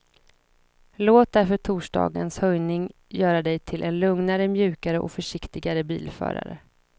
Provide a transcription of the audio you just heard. Låt därför torsdagens höjning göra dig till en lugnare, mjukare och försiktigare bilförare.